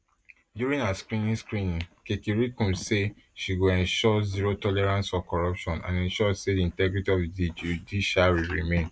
during her screening screening kekereekun say she go ensure zero tolerance for corruption and ensure say di integrity of di judiciary remain